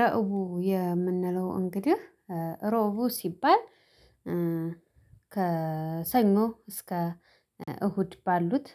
ረቡዕ የምንለው እንግዲህ ረቡዕ ሲባል ከሰኞ እስከ እሁድ ባሉት